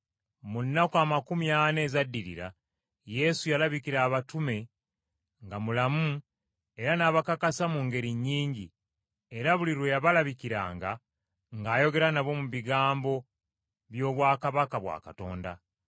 Mu nnaku amakumi ana ezaddirira, Yesu yalabikira abatume nga mulamu era n’abakakasa mu ngeri nnyingi, era buli lwe yabalabikiranga ng’ayogera nabo ku bigambo by’obwakabaka bwa Katonda.